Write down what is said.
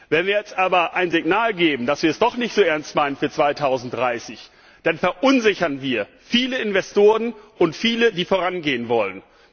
Wenn wir jetzt aber ein Signal setzen, dass wir es doch nicht so ernst meinen für 2030, dann verunsichern wir viele Investoren und viele, die vorangehen wollen.